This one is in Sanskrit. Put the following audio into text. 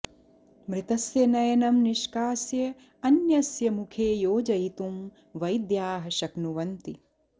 मृतस्य नयनं निष्कास्य अन्यस्य मुखे योजयितुं वैद्याः शक्नुवन्ति